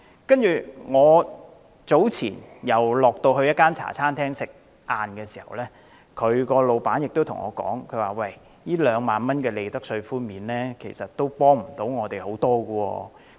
較早前，我在一間茶餐廳吃午飯時，老闆跟我說2萬元的利得稅寬免，對他們的幫助不是太大。